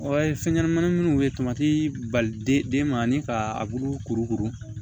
Ɔ fɛn ɲɛnɛmani minnu bɛ tomati bali den ma ni ka abulu kurukuru